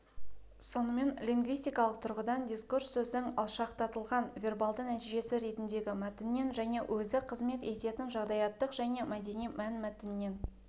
сонымен лингвистикалық тұрғыдан дискурс сөздің алшақтатылған вербалды нәтижесі ретіндегі мәтіннен және өзі қызмет ететін жағдаяттық және мәдени мәнмәтіннен